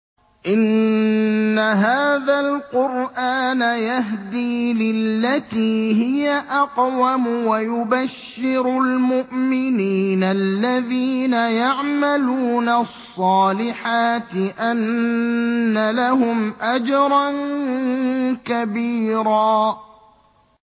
إِنَّ هَٰذَا الْقُرْآنَ يَهْدِي لِلَّتِي هِيَ أَقْوَمُ وَيُبَشِّرُ الْمُؤْمِنِينَ الَّذِينَ يَعْمَلُونَ الصَّالِحَاتِ أَنَّ لَهُمْ أَجْرًا كَبِيرًا